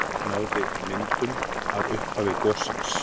Náði myndum af upphafi gossins